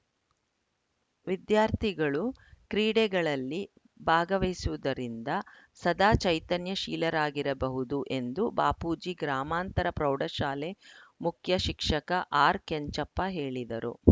ವಿದ್ಯಾರ್ಥಿಗಳು ಕ್ರೀಡೆಗಳಲ್ಲಿ ಭಾಗವಹಿಸುವುದರಿಂದ ಸದಾ ಚೈತನ್ಯ ಶೀಲರಾಗಿರಬಹುದು ಎಂದು ಬಾಪೂಜಿ ಗ್ರಾಮಾಂತರ ಪ್ರೌಢಶಾಲೆ ಮುಖ್ಯಶಿಕ್ಷಕ ಆರ್‌ಕೆಂಚಪ್ಪ ಹೇಳಿದರು